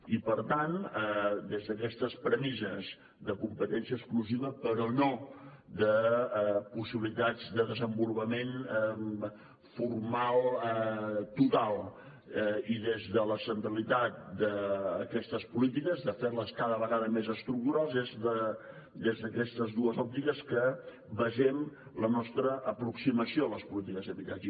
i per tant des d’aquestes premisses de competència exclusiva però no de possibilitats de desenvolupament formal total i des de la centralitat d’aquestes polítiques de fer les cada vegada més estructurals és des d’aquestes dues òptiques que basem la nostra aproximació a les polítiques d’habitatge